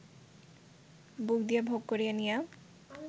বুক দিয়া ভোগ করিয়া নিয়া